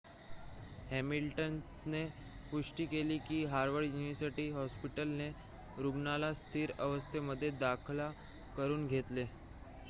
हॅमिल्टनने पुष्टि केली की हॉवर्ड युनिवर्सिटी हॉस्पिटलने रुग्णाला स्थिर अवस्थेमध्ये दाखल करुन घेतले